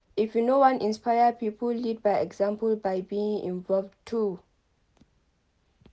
If you wan inspire pipo lead by example by being involved too